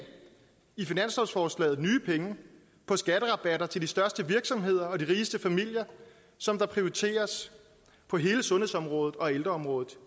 i finanslovsforslaget på skatterabatter til de største virksomheder og de rigeste familier som der prioriteres på hele sundhedsområdet og ældreområdet